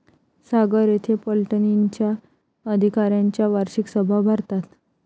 सागर येथे पलटणींच्या अधिकाऱ्यांच्या वार्षिक सभा भरतात.